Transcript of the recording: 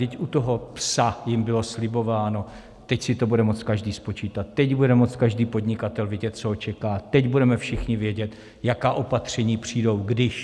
Vždyť u toho "psa" jim bylo slibováno, teď si to bude moct každý spočítat, teď bude moct každý podnikatel vidět, co ho čeká, teď budeme všichni vědět, jaká opatření přijdou, když...